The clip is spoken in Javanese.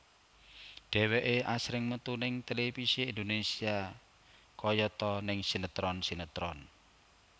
Dheweké asring metu ning televisi Indonésia kayata ning sinetron sinetron